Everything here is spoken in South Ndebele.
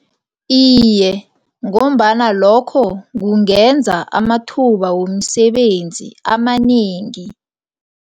Iye, ngombana lokho kungenza amathuba womsebenzi amanengi.